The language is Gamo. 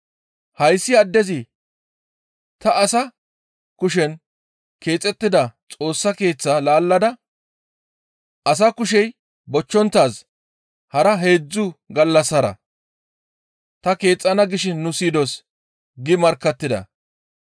«Hayssi addezi, ‹Ta asa kushen keexettida Xoossa Keeththaa laallada asa kushey bochchonttaaz hara heedzdzu gallassara ta keexxana› gishin nu siyidos» gi markkattida.